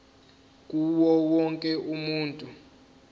kuwo wonke umuntu